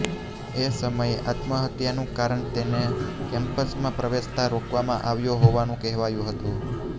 એ સમયે આત્મહત્યાનું કારણ તેને કેમ્પસમાં પ્રવેશતા રોકવામાં આવ્યો હોવાનું કહેવાયું હતું